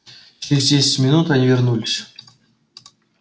через десять минут они вернулись